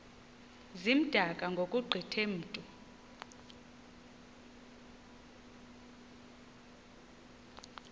zimdaka ngokugqithe mntu